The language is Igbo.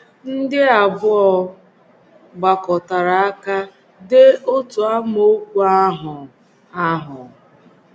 Ndị abụọ um gbakọtara aka dee otu amaokwu ahụ ahụ?